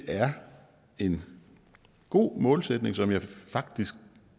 er en god målsætning som jeg faktisk